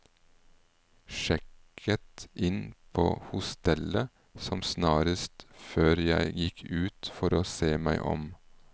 Sjekket inn på hostellet som snarest før jeg gikk ut for å se meg om.